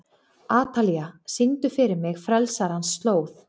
Atalía, syngdu fyrir mig „Frelsarans slóð“.